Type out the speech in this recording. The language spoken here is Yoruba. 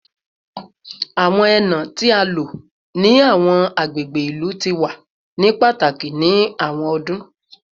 Awọn ena ti a lo ni awọn agbegbe ilu ti wa ni pataki ni awọn ọdun